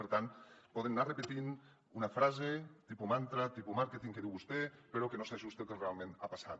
per tant poden anar repetint una frase tipus mantra tipus màrqueting que diu vostè però que no s’ajusta al que realment ha passat